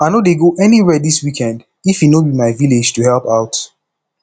i no dey go anywhere dis weekend if e no be my village to help out